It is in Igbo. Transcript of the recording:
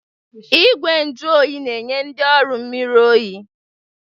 Igwe nju oyi na-enye ndị ọrụ mmiri oyi.